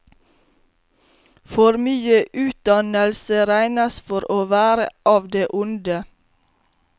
For mye utdannelse regnes for å være av det onde.